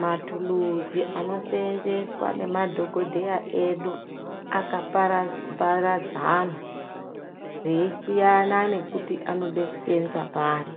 Mathuluzi anoseenzeswa ngemadhogodheya edu akaparadzana, eisiyana nekuti anode kuseenza pari.